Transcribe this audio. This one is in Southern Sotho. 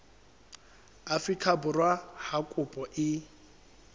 afrika borwa ha kopo e